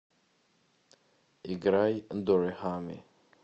играй дорехами